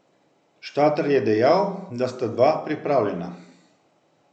Štarter je dejal, da sta dva pripravljena.